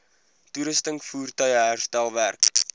toerusting voertuie herstelwerk